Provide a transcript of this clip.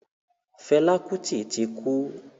Fẹlá Kútì ti kú.